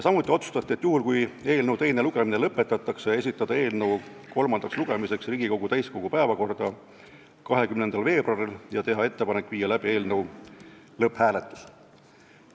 Samuti otsustati, et kui eelnõu teine lugemine lõpetatakse, siis on ettepanek esitada eelnõu kolmandaks lugemiseks Riigikogu täiskogu päevakorda 20. veebruariks ja teha ettepanek viia läbi eelnõu lõpphääletus.